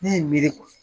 Ne ye n miiri